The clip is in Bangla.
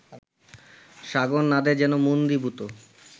সাগরনাদে যেন মন্দীভূত